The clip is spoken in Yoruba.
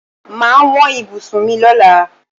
Màá wọn bí ibùsùn mi lóla.